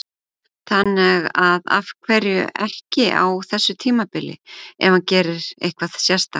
Þannig að af hverju ekki á þessu tímabili, ef hann gerir eitthvað sérstakt?